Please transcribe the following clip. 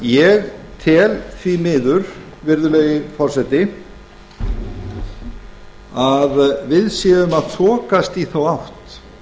ég tel því miður virðulegi forseti að við séum að þokast í þá átt